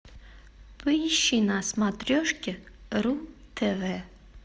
поищи на смотрешке ру тв